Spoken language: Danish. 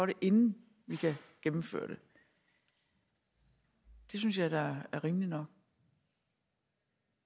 inden vi kan gennemføre det det synes jeg da er rimeligt nok